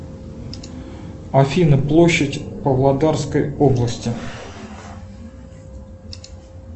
афина площадь павлодарской области